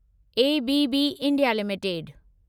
ABB India limited